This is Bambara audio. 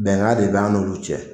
Bɛngan de ba an n'olu cɛ.